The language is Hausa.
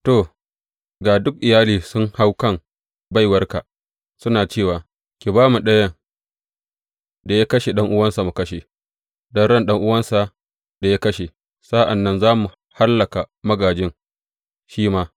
To, ga duk iyali sun hau kan baiwarka, suna cewa, Ki ba mu ɗayan da ya kashe ɗan’uwansa mu kashe don ran ɗan’uwansa da ya kashe; sa’an nan za mu hallaka magājin shi ma.’